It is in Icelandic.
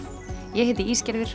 ég heiti